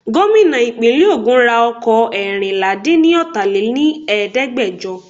Gómìnà ìpínlè ogún ra ọkọ̀ Ẹẹ́rìnlà dín ni ọta lè ní Ẹ̀ẹ́dẹ́gbẹjọ.